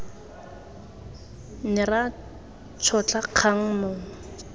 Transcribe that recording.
ne ra tšhotla kgang mong